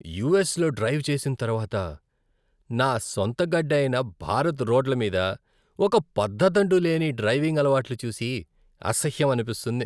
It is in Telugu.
యుఎస్లో డ్రైవ్ చేసిన తరువాత, నా సొంత గడ్డ అయిన భారత్ రోడ్ల మీద ఒక పద్ధతంటూ లేని డ్రైవింగ్ అలవాట్లు చూసి అసహ్యం అనిపిస్తుంది.